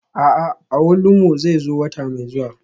A'a, awolumo zai zo wata mai zuwa.